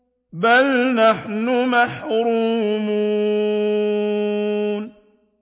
بَلْ نَحْنُ مَحْرُومُونَ